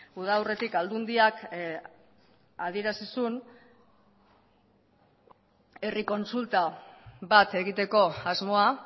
uda aurretik aldundiak adierazi zuen herri kontsulta bat egiteko asmoa